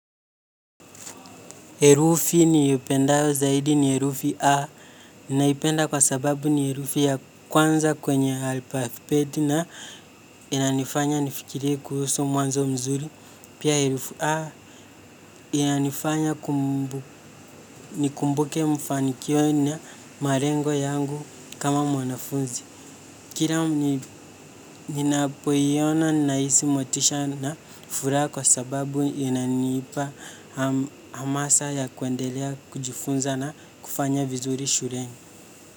Herufi niipendayo zaidi ni herufi A. Naipenda kwa sababu ni herufi ya kwanza kwenye alfabeti na inanifanya nifikirie kuhusu mwanzo mzuri. Pia herufi A inanifanya nikumbuke mfanikio na marengo yangu kama mwanafunzi. Kira ninapoiona nahisi motisha na furaha kwa sababu inanipa hamasa ya kuendelea kujifunza na kufanya vizuri shuleni.